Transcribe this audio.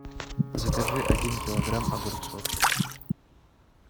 закажи один килограмм огурцов